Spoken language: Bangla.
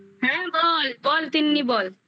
হ্যাঁ বল বল তিন্নি বল